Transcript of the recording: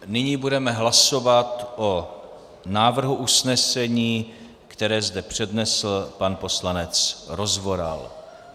Nyní budeme hlasovat o návrhu usnesení, které zde přednesl pan poslanec Rozvoral.